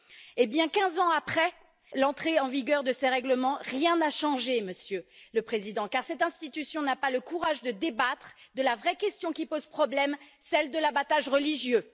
Et bien, quinze ans après l'entrée en vigueur de ce règlement, rien n'a changé, Monsieur le Président, car cette institution n'a pas le courage de débattre de la vraie question qui pose problème, celle de l'abattage religieux.